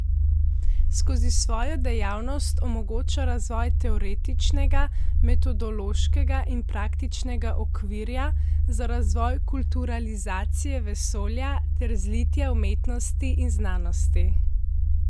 Skozi svojo dejavnost omogoča razvoj teoretičnega, metodološkega in praktičnega okvirja za razvoj kulturalizacije vesolja ter zlitja umetnosti in znanosti.